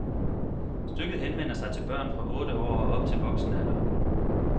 Stykket henvender sig til børn fra otte år og op til voksenalderen.